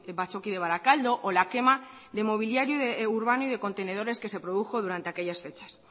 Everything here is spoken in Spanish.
batzoki de barakaldo o la quema de mobiliario urbano y de contenedores que se produjo durante aquellas fechas